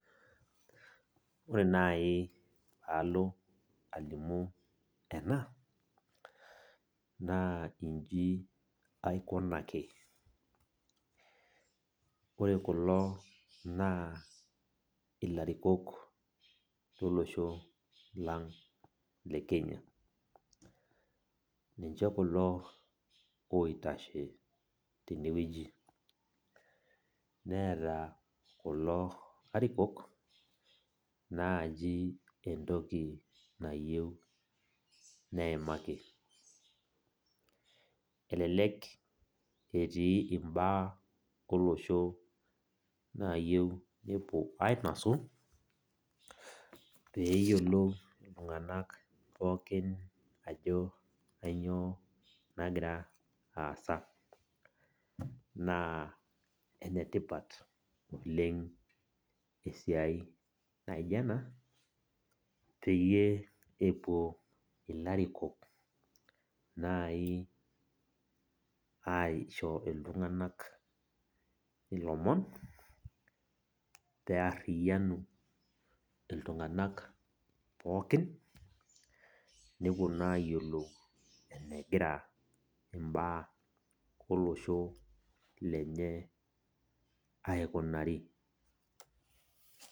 Ore nai paalo alimu ena, naa iji aikunaki. Ore kulo naa ilarikok lolosho lang le Kenya. Ninche kulo oitashe tenewueji. Neeta kulo arikok, naaji entoki nayieu neimaki. Elelek etii imbaa olosho nayieu nepuo ainosu, peyiolou iltung'anak pookin ajo kanyioo nagira aasa. Naa enetipat oleng esiai naija ena, peyie epuo ilarikok nai aisho iltung'anak ilomon, pearriyianu iltung'anak pookin, nepuo naa ayiolou enegira imbaa olosho lenye aikunari.